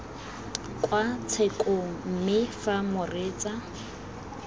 kwa tshekong mme fa moreetsa